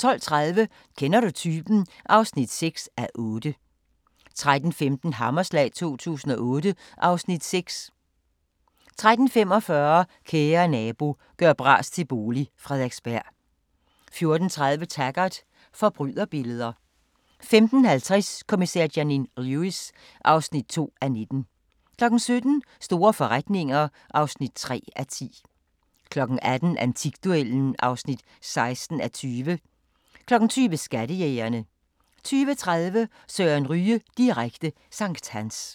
12:30: Kender du typen? (6:8) 13:15: Hammerslag 2008 (Afs. 6) 13:45: Kære nabo – gør bras til bolig – Frederiksberg 14:30: Taggart: Forbryderbilleder 15:50: Kommissær Janine Lewis (2:19) 17:00: Store forretninger (3:10) 18:00: Antikduellen (16:20) 20:00: Skattejægerne 20:30: Søren Ryge direkte – sankthans